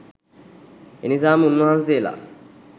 එනිසාම උන්වහන්සේලා